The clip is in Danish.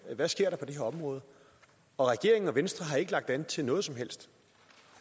hvad der sker på det her område og regeringen og venstre har ikke lagt an til noget som helst